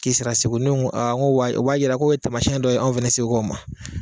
Ki sera segu, ne ko aa nko o b'a o b'a yira ko ye tamasiɛn dɔ ye an fɛnɛ segu ka u ma.